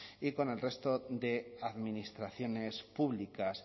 y con el resto de administraciones públicas